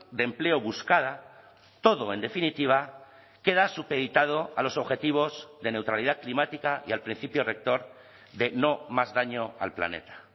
de empleo buscada todo en definitiva queda supeditado a los objetivos de neutralidad climática y al principio rector de no más daño al planeta